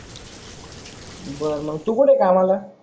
बर मग तू कुठे आहे कामाला?